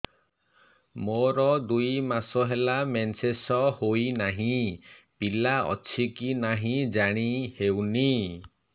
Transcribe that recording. ମୋର ଦୁଇ ମାସ ହେଲା ମେନ୍ସେସ ହୋଇ ନାହିଁ ପିଲା ଅଛି କି ନାହିଁ ଜାଣି ହେଉନି